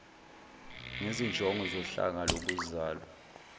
ngezinjongo zohlanga lokuzalwa